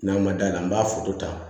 N'an ma da la an b'a ta